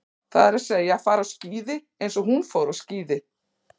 Það er að segja, fara á skíði eins og hún fór á skíði.